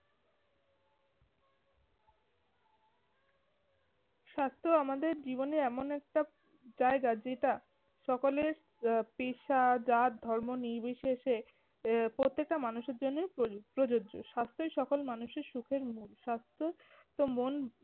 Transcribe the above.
স্বাস্থ্য আমাদের জীবনের এমন একটা জায়গা যেটা সকলের আহ পেশা জাত ধর্ম নির্বিশেষে আহ প্রত্যেকটা মানুষের জন্যই প্রয~ প্রযোজ্য। স্বাস্থ্যই সকল মানুষের সুখের মূল। স্বাস্থ্য তো মন